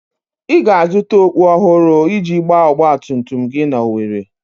Ị ga-azụta okpú ọhụrụ iji gbaa ọgba tum tum gị n'Owerri.